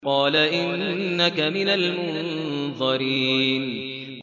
قَالَ إِنَّكَ مِنَ الْمُنظَرِينَ